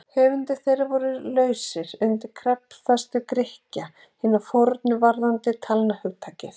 höfundar þeirra voru lausir undan kreddufestu grikkja hinna fornu varðandi talnahugtakið